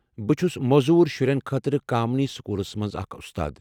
بہٕ چُھس موزوٗر شُرٮ۪ن خٲطرٕ کامینی سکولس مَنٛز اکھ استاد۔